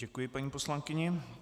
Děkuji paní poslankyni.